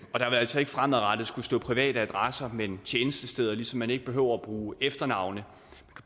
og der vil altså ikke fremadrettet skulle stå private adresser men tjenestesteder ligesom man ikke behøver at bruge efternavn